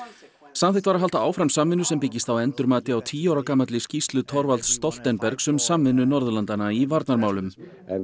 samþykkt var að halda áfram samvinnu sem byggist á endurmati á tíu ára gamalli skýrslu Thorvalds Stoltenbergs um samvinnu Norðurlandanna í varnarmálum